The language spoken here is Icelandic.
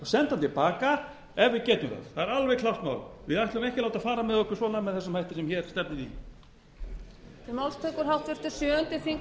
senda hann til baka ef við getum það það er alveg klárt mál við ætlum ekki að láta fara svona með okkur með þessum hætti sem hér stefnir í